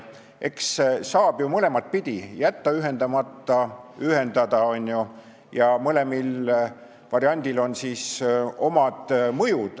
Eks saab ju mõlemat pidi, kas jätta ühendamata või ühendada, ja mõlemal variandil on omad mõjud.